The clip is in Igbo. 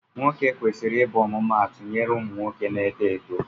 Nwoke kwesiri ịbụ ọmụmaatụ nyere ụmụ nwoke na-eto eto.